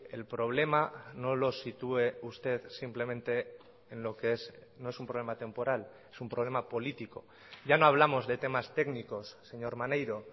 el problema no lo sitúe usted simplemente en lo que es no es un problema temporal es un problema político ya no hablamos de temas técnicos señor maneiro